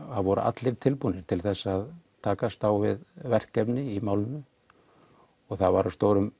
voru allir tilbúnir til þess að takast á við verkefni í málinu og það var á stórum